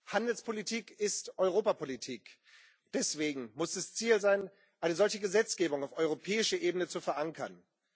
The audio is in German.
Handelspolitik ist Europapolitik. Deswegen muss es Ziel sein, eine solche Gesetzgebung auf europäischer Ebene zu verankern.